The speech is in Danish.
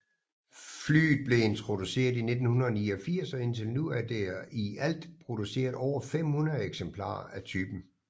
Flyet blev introduceret i 1989 og indtil nu er der i alt produceret over 500 eksemplarer af typen